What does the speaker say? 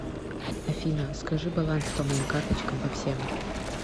афина скажи балансы по моим карточкам по всем